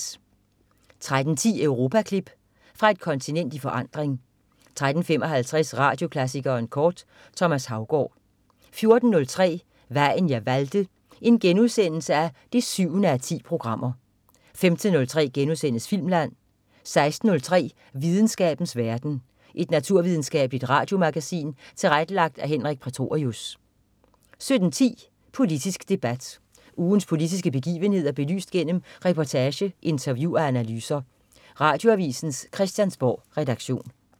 13.10 Europaklip. Fra et kontinent i forandring 13.55 Radioklassikeren kort. Thomas Haugaard 14.03 Vejen jeg valgte 7:10* 15.03 Filmland* 16.03 Videnskabens verden. Et naturvidenskabeligt radiomagasin tilrettelagt af Henrik Prætorius 17.10 Politisk debat. Ugens politiske begivenheder belyst gennem reportage, interview og analyser. Radioavisens Christiansborgredaktion